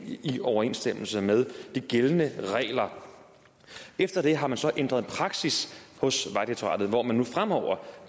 i overensstemmelse med de gældende regler efter det har man så ændret praksis hvor man nu fremover